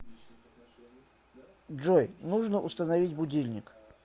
джой нужно установить будильник